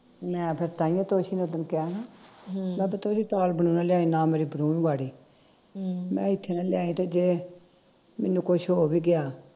ਮੈਂ ਫਿਰ ਤਾਹੀਓ ਤੋਸ਼ੀ ਨੂੰ ਉਦਣ ਕਿਹਾ ਨਾ ਮੈ ਨਾ ਲਿਆਈ ਨਾ ਮੇਰੀ ਵਾੜੀ ਮੈਂ ਇਥੇ ਨਾ ਲਿਆਂਦੀ ਤੇ ਜੇ ਮੈਨੂੰ ਕੁਛ ਹੋ ਵੀ ਗਿਆ